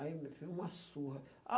Aí, meu filho, uma surra.